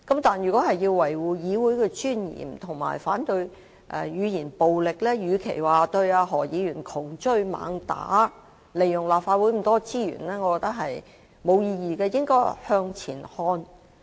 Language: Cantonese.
但是，如果說要維護議會尊嚴及反對語言暴力，與其對何議員窮追猛打，利用立法會這麼多資源，我認為是沒有意義的，我們應該向前看。